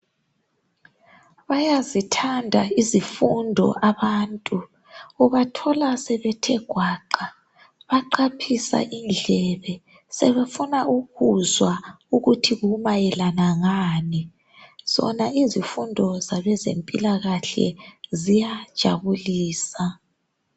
Bayazithanda izifundo abantu . Ubathola sebethe gwaqa baqaphisa indlebe sebefuna ukuzwa ukuthi kumayelana ngani . Zona izifundo zabezempilakahle ziyajabulisa.